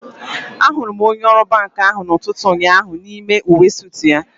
Ahụrụ m onye ọrụ banki ahụ n'ụtụtụ ụnyaahụ n'ime uwe soot ya